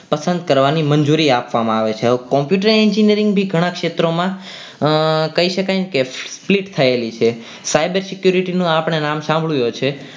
પસંદ કરવાની મંજૂરી આપે છે આપવામાં આવે છે હવે computer engineering બી ઘણા ક્ષેત્રોમાં કહી શકાય ને કે feat થયેલું છે cyber security નું નામ આપણે સાંભળ્યું હશે.